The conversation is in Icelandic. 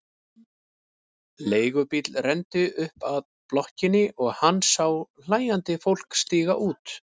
Leigubíll renndi upp að blokkinni og hann sá hlæjandi fólk stíga út.